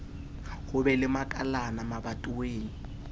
ho be le makalana mabatoweng